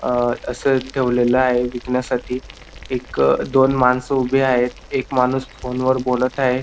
अ अस ठेवलेल आहे विकण्यासाठी एक दोन माणस उभी आहेत एक माणूस फोन वर बोलत आहे.